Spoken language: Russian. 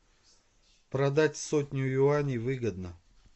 продать сотню юаней выгодно